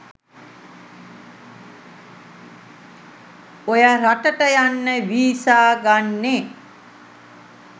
ඔය රට ට යන්න වීසා ගන්නෙ